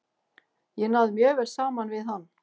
Ég náði mjög vel saman við hann.